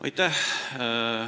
Aitäh!